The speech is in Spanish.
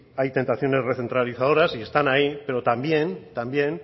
hay tentaciones recentralizadoras y están ahí pero también